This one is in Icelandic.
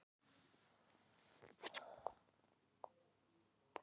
Jón Ólafaur slökkti á tölvunni og stökk á fætur.